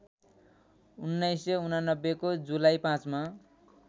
१९८९ को जुलाई ५ मा